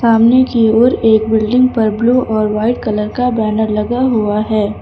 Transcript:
सामने की ओर एक बिल्डिंग पर ब्लू और वाइट कलर का बैनर लगा हुआ है।